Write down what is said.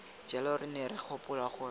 jalo re ne re gopola